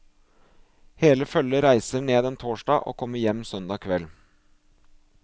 Hele følget reiser ned en torsdag og kommer hjem søndag kveld.